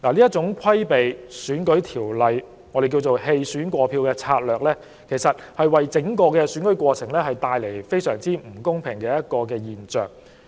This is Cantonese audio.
這種規避選舉法例之舉，亦即我們所謂的"棄選過票"策略，其實會在整個選舉過程中造成相當不公平的現象。